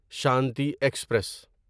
Shanti express